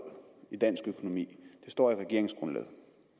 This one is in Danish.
i dansk økonomi det står i regeringsgrundlaget